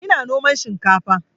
Ina noman shinkafa